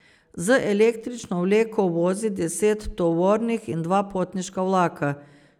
Z električno vleko vozi deset tovornih in dva potniška vlaka.